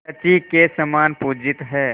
शची के समान पूजित हैं